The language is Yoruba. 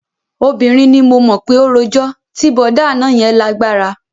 Obìnrin ni mo mọ̀ pé ó rojọ́, ti bọ̀dá àná yẹn lágbára